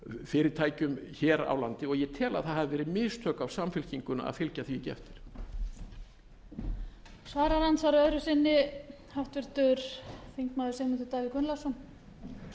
fyrirtækjum hér á landi og ég tel að það hafi verið mistök af samfylkingunni að fylgja því ekki eftir